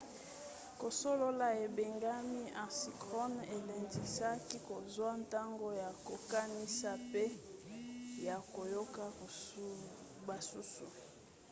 kosolola ebengami asynchrone elendisaka kozwa ntango ya kokanisa pe ya koyoka basusu